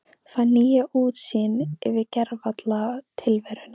Fæ nýja útsýn yfir gervalla tilveruna.